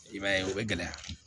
I b'a ye o bɛ gɛlɛya